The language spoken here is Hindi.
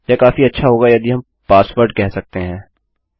यह काफी अच्छा होगा यदि हम पासवर्ड कह सकते हैं